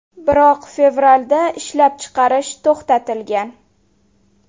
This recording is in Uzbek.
Biroq fevralda ishlab chiqarish to‘xtatilgan.